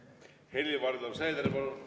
Helir-Valdor Seeder, palun!